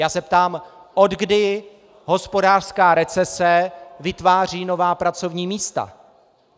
Já se ptám, od kdy hospodářská recese vytváří nová pracovní místa.